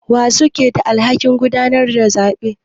Wa suke da alhakin gudanar da zabe?